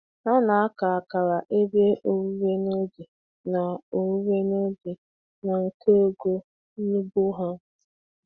Ha na-aka akara ebe owuwe n'oge na owuwe n'oge na nke ọgọ n'ugbo ha.